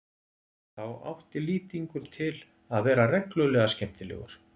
Þá átti Lýtingur til að vera reglulega skemmtilegur.